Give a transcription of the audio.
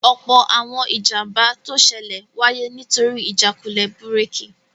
Ọ̀pọ̀ àwọn ìjàmbá tó ṣẹlẹ̀ wáyé nítorí ìjákulẹ̀ búrèkì